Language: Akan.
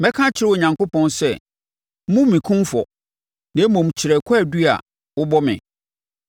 Mɛka akyerɛ Onyankopɔn sɛ: Mmu me kumfɔ, na mmom kyerɛ kwaadu a wobɔ me.